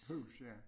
Hus ja